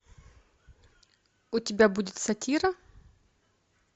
у тебя будет сатира